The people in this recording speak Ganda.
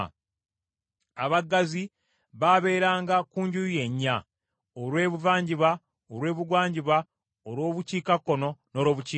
Abaggazi baabeeranga ku njuyi ennya, olw’ebuvanjuba, olw’ebugwanjuba, olw’obukiikakkono, n’olwobukiikaddyo,